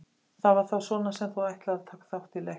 Það var þá svona sem þú ætlaðir taka þátt í leiknum.